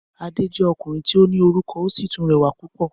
Adé jẹ́ ọkùnrin tí ó ní orúkọ ó sì tún rẹwà púpò